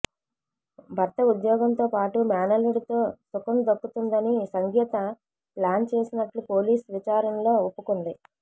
భర్త ఉద్యోగంతో పాటు మేనల్లుడితో సుఖం దక్కుతుందని సంగీత ప్లాన్ చేసినట్లు పోలీస్ విచాచారణలో ఒప్పుకుంది